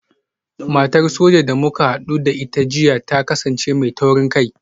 Matar Soja da muka hadu da ita jiya ta kasance mai taurin kai